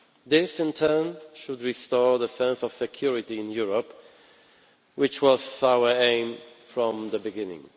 This, in turn, should restore the sense of security in Europe, which has been our aim from the beginning.